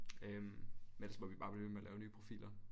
Øh men ellers må vi bare blive ved med at lave nye profiler